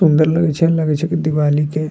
सुन्दर लगे छै लगे छै की दिवाली के --